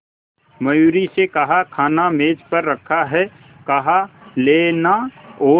मयूरी से कहा खाना मेज पर रखा है कहा लेना और